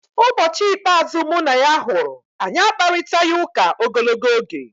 Ụbọchị ikpeazụ mụ na ya hụrụ, anyị akparịtaghị ụka ogologo oge.